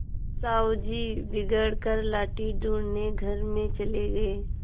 साहु जी बिगड़ कर लाठी ढूँढ़ने घर में चले गये